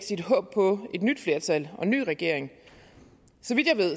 nyt flertal og en ny regering